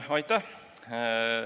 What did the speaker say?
Aitäh!